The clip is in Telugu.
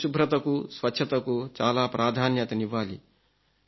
పరిశుభ్రతకు స్వచ్ఛతకు చాలా ప్రాధాన్యతనివ్వాలి